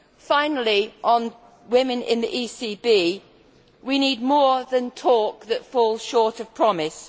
Finally, on women in the ECB, we need more than talk that falls short of promises.